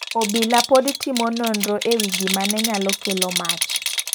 Obila pod timo nonro ewi gimane nyalo kelo mach.